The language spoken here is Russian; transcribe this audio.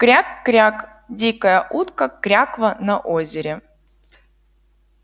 кряк-кряк дикая утка кряква на озере